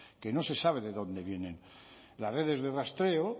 que no se sabe de dónde vienen las redes de rastreo